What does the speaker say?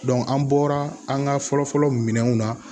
an bɔra an ka fɔlɔ-fɔlɔ minɛnw na